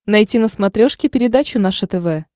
найти на смотрешке передачу наше тв